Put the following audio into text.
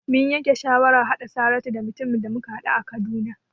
Mun yanke shawarar haɗa Saratu da mutumin da muka haɗu a Kaduna.